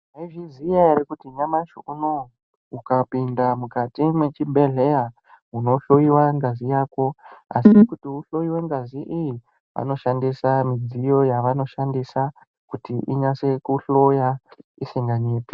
Mwaizviziya ere kuti nyamashi unowu, ukapinda mukati mwechibhedhleya, unohloiwa ngazi yako, asi kuti uhloiwe ngazi iyi, vanoshandisa midziyo yavanoshandisa kuti inyase kuhloya isinganyepi.